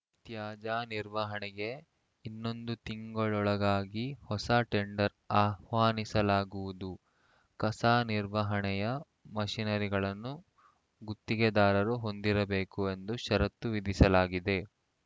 ತ್ಯಾಜ್ಯ ನಿರ್ವಹಣೆಗೆ ಇನ್ನೊಂದು ತಿಂಗಳೊಳಗಾಗಿ ಹೊಸ ಟೆಂಡರ್‌ ಆಹ್ವಾನಿಸಲಾಗುವುದು ಕಸ ನಿರ್ವಹಣೆಯ ಮಷಿನರಿಗಳನ್ನು ಗುತ್ತಿಗೆದಾರರು ಹೊಂದಿರಬೇಕು ಎಂದು ಷರತ್ತು ವಿಧಿಸಲಾಗಿದೆ